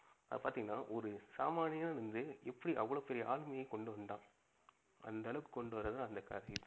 அது பாத்திங்கனா ஒரு சாமானியனா இருந்து எப்படி அவ்ளோ பெரிய ஆளுமையை கொண்டு வந்தான்? அந்த ஆளவுக்கு கொண்டு வரது தான் அந்த கதையே.